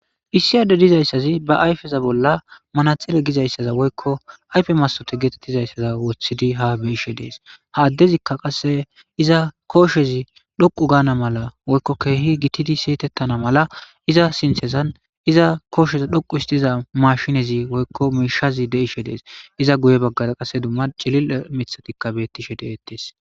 issi ade dizayssazi ba ayfeza bolla manaxile gizayssaza woykko ayfe masote geetettizayssaza wothidi ha beishe dees ha addezikka qasse iza kooshezi dhoqu gaana mala woykko keehi gittidi siyitettana mala iza sinthezan iza koosheza dhoqu istiza mashinezi woykko miishazi de ishe dees iza guye baggara qasse dumma cilil mithatikka bettishe deettes